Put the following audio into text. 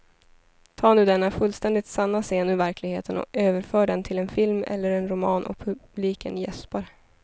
Ta nu denna fullständigt sanna scen ur verkligheten och överför den till en film eller en roman och publiken jäspar.